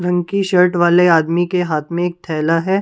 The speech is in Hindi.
रंग की शर्ट वाले आदमी के हाथ में एक थैला है ।